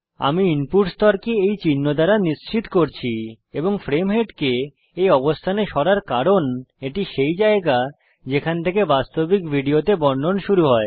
আমি ইনপুট স্তরকে এই চিহ্ন পর্যন্ত নিশ্চিত করছি এবং ফ্রেম হেডকে এই অবস্থানে সরাব কারণ এটি সেই জায়গা যেখান থেকে বাস্তবিক ভিডিওতে বর্ণন শুরু হয়